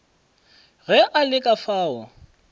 ge a le ka fao